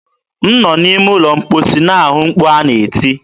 m nọ n'ime ụlọ mkposi na-anụ mkpu ha na-eti.